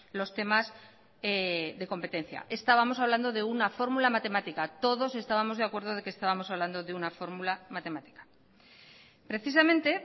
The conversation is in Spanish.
los temas de competencia estábamos hablando de una fórmula matemática todos estábamos de acuerdo de que estábamos hablando de una fórmula matemática precisamente